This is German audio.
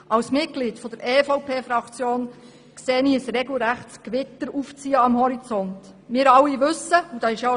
Als Mitglied der EVP-Fraktion sehe ich, wie ein regelrechtes Gewitter am Horizont aufzieht.